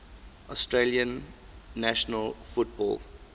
australian national football